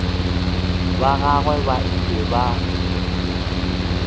ba gagwe ba ile ba